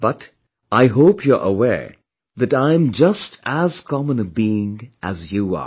But, I hope you are aware that I am just as common a being as you are